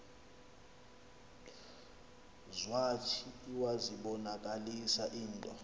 zwathi iwazibonakalisa into